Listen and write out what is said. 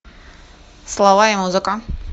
слова и музыка